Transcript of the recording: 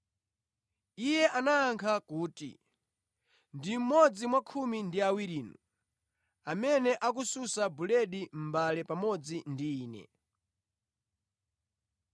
Iye anayankha kuti, “Ndi mmodzi mwa khumi ndi awirinu, amene akusunsa buledi mʼmbale pamodzi ndi Ine.